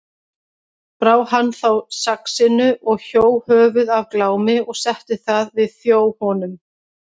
Brá hann þá saxinu og hjó höfuð af Glámi og setti það við þjó honum.